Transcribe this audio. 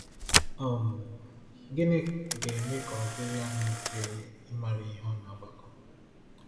um Gịnị ga-eme ka ọ dịrị anyị mfe ịmara ihe n’ọgbakọ?